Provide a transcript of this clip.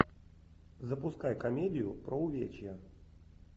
запускай комедию про увечья